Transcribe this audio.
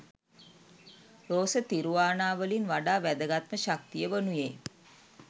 රෝස තිරුවානාවලින් වඩා වැදගත් ම ශක්තිය වනුයේ